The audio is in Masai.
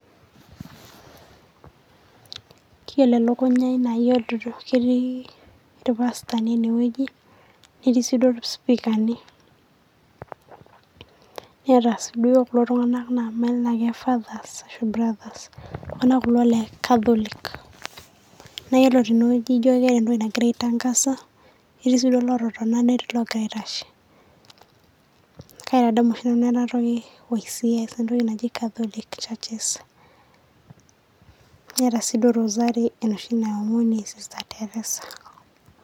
Keyiolo elukunya aii naa ketii irpasatani ene wueji, netii sii duo isipikani, Neeta sii duo kulo Tung'anak mayiolo tenaa ke Fathers, brothers enaa kulo le Catholic. Naa Yiolo tene wueji naa ejio keeta entoki nagira aitangasa, etii sii aatoni netii iloogira aitashe. Kaitadamu oshi Nanu ena toki Catholic service, keeta sii duo dosari enoshi naomoni e sista Teresa.